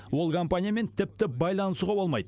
ол компаниямен тіпті байланысуға болмайды